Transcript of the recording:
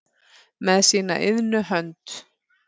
með sína iðnu hönd